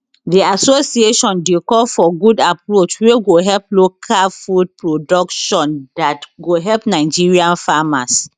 di association dey call for good approach wey go help local food production dat go help nigerian farmers